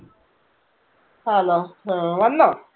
ആന്നോ ഹാ വന്നോ?